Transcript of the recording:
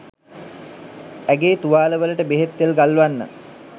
ඇගේ තුවාල වලට බෙහෙත් තෙල් ගල්වන්න